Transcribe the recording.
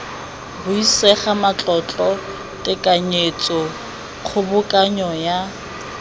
buisega matlotlo tekanyetso kgobokanyo ya